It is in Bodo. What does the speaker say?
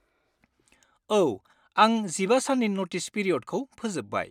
औ, आं 15 साननि नटिस पिरिय'डखौ फोजोब्बाय।